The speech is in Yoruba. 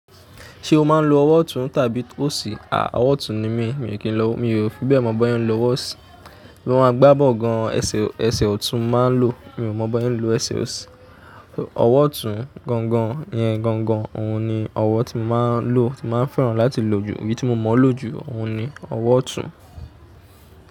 Ṣé o máa ń lo ọwọ́ ọ̀tún tàbí òsì? À, ọwọ́ ọ̀tún ni mí, mi ò kí n lo, mi ò fi bẹ́ẹ̀ mọ̀ bọ́ ẹ ń lo ọwọ́ òsì. Bí wọ́n bá gbá bọ́l gan-an, ẹsẹ̀, ẹsẹ̀ ọ̀tún máa ń lò. Mi ò mọ̀ bọ́ sẹ ń lo ẹsẹ̀ òsì. Ọwọ́ ọ̀tún gan-an ní ẹ gan-an òun ni ọwọ́ tí mo máa ń lò, tí máa ń fẹ́ràn láti lò jù. Iyi tí mo mọ̀ ọ́ lò jù, òun ni ọwọ́ ọ̀tún.